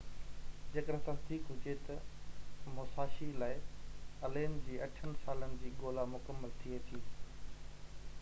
جيڪڏهن تصديق هجي ته موساشي لاءِ الين جي اٺن سالن جي ڳولا مڪمل ٿئي ٿي